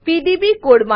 PDB code